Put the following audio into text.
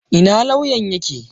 Ina lauyan ya ke?